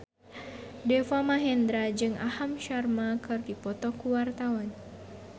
Deva Mahendra jeung Aham Sharma keur dipoto ku wartawan